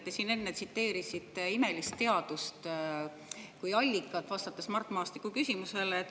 Te siin enne Imelisele Teadusele kui allikale, kui vastasite Mart Maastiku küsimusele.